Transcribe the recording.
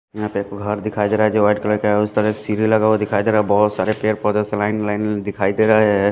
यहा पे फूहार दिखाई दे रहा है जो व्हाइट कलर के है उस तरह के सीधे लगा हुआ दिखाई दे रहा है बहुत सारे पेड़ पौधे स लाइन लाइन दिखाई दे रहा है।